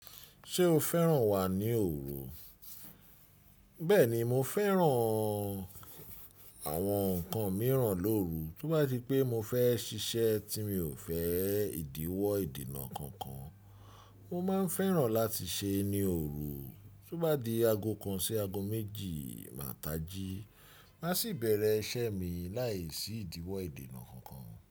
Ṣé o fẹ́ràn wà ní òru? Bẹ́ẹ̀ni, mo fẹ́ràn àwọn nǹkan mìíràn lóru. Tí ó bá di pé mo fẹ́ ṣiṣẹ́ tí mi ò fẹ́ ìdíwọ́ ìdènà kankan, mo máa fẹ́ràn láti ṣe ẹ ní òru. Tí ó bá di ago kan sí ago méjì, máa tají. Máa sì bẹ̀rẹ̀ iṣẹ́ mi láìsí ìdíwọ́ ìdènà kankan.